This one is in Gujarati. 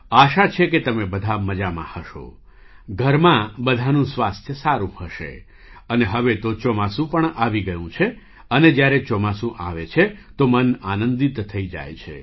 આશા છે કે તમે બધા મજામાં હશો ઘરમાં બધાંનું સ્વાસ્થ્ય સારું હશે અને હવે તો ચોમાસું પણ આવી ગયું છે અને જ્યારે ચોમાસું આવે છે તો મન આનંદિત થઈ જાય છે